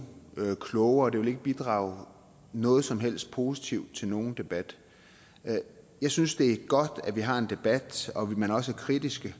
klogere og det vil ikke bidrage med noget som helst positivt til nogen debat jeg synes det er godt at vi har en debat og at man også er kritisk